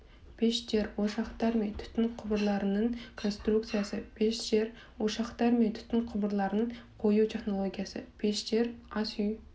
пештер ошақтар мен түтін құбырларының конструкциясы пештер ошақтар мен түтін құбырларын қою технологиясы пештер ас үй